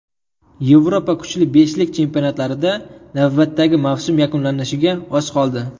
Yevropa kuchli beshlik chempionatlarida navbatdagi mavsum yakunlanishiga oz qoldi.